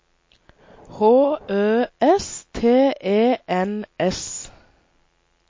H Ø S T E N S